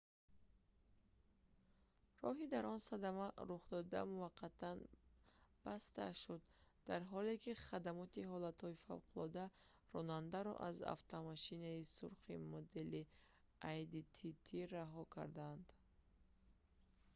роҳи дар он садама рухдода муваққатан баста шуд дар ҳоле ки хадамоти ҳолатҳои фавқулодда ронандаро аз автомошинаи сурхи модели audi tt раҳо карданд